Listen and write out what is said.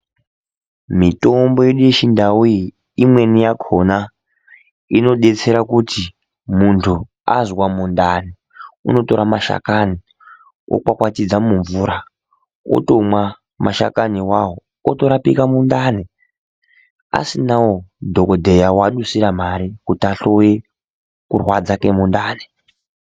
Mitombo yedu yechindau iyi, imweni yakhona inodetsera kuti muntu azwa mundani unotora mashakani, wokwakwatidza mumvura, wotomwa mashakani awawo, wotorapika mundani asinawo dhokodheya waadusira mare kuti ahloiye kurwadza kwemundani.